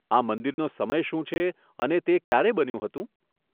આ મંદિરનો સમય શું છે અને તે ક્યારે બન્યું હતું?